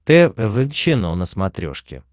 тэ вэ эм чено на смотрешке